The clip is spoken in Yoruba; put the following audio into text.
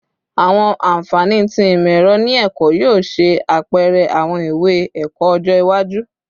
Awọn anfani ti imọ-ẹrọ ni ẹkọ yoo ṣe apẹrẹ awọn iwe-ẹkọ ọjọ iwaju